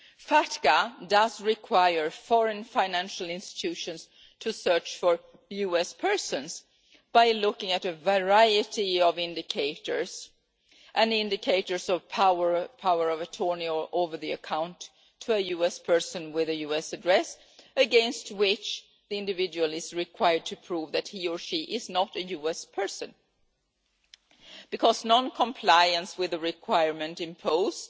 FATCA requires foreign financial institutions to search for US persons by looking at a variety of indicators, including indicators of power of attorney over the account of a US person with a US address, against which the individual is required to prove that he or she is not a US person. Because non-compliance with the requirement imposed